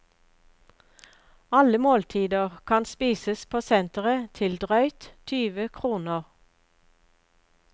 Alle måltider kan spises på senteret til drøyt tyve kroner.